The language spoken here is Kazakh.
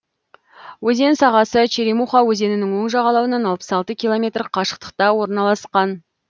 өзен сағасы черемуха өзенінің оң жағалауынан алпыс алты километр қашықтықта орналасқан